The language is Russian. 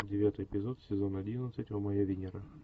девятый эпизод сезон одиннадцать о моя венера